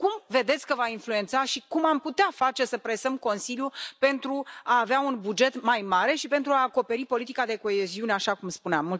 Cum vedeți că va influența și cum am putea face să presăm Consiliul pentru a avea un buget mai mare și pentru a acoperi politica de coeziune, așa cum spuneam?